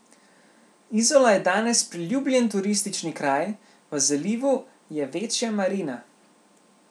Izola je danes priljubljen turistični kraj, v zalivu je večja marina.